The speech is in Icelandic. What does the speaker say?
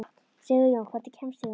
Sigurjón, hvernig kemst ég þangað?